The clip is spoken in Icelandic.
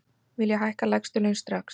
Vilja hækka lægstu laun strax